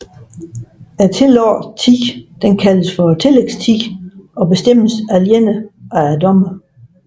Den tillagte tid kaldes for tillægstid og bestemmes alene af dommeren